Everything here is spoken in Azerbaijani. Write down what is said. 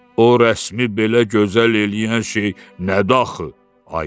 O rəsmi belə gözəl eləyən şey nədir axı?